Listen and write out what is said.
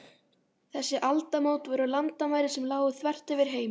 Þessi aldamót voru landamæri sem lágu þvert yfir heiminn.